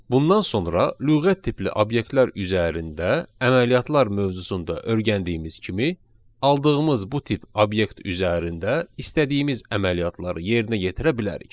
Bundan sonra lüğət tipli obyektlər üzərində əməliyyatlar mövzusunda öyrəndiyimiz kimi, aldığımız bu tip obyekt üzərində istədiyimiz əməliyyatları yerinə yetirə bilərik.